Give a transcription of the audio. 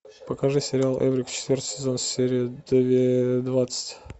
покажи сериал эврика четвертый сезон серия двадцать